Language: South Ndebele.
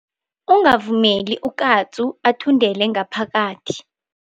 Ungavumeli ukatsu athundele ngaphakathi.